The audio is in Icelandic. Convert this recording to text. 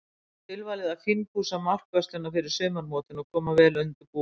Tilvalið að fínpússa markvörsluna fyrir sumarmótin og koma vel undirbúin.